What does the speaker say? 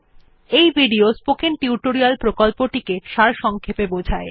এটি spoken tutorial প্রকল্পটি সারসংক্ষেপে বোঝায়